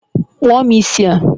kpụọ m isi a